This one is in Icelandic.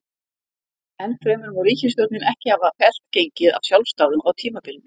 Enn fremur má ríkisstjórnin ekki hafa fellt gengið af sjálfsdáðum á tímabilinu.